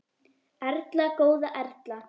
Erla góða Erla.